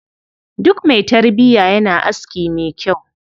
Duk mai tarbiya yana aski mai kyau.